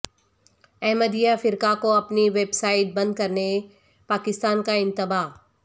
احمدیہ فرقہ کو اپنی ویب سائیٹ بند کرنے پاکستان کا انتباہ